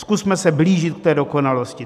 Zkusme se blížit k té dokonalosti.